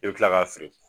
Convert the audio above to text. I bɛ kila k'a feere